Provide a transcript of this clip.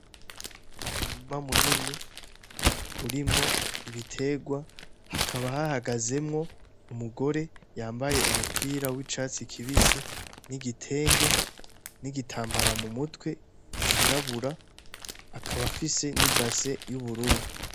N'umurima munini urimwo ibitegwa hakaba hahagazemwo umugore yambaye umupira w'icatsi kibisi; n'igitenge; n'igitambara mu mutwe cirabura, akaba afise n'ibase y'ubururu.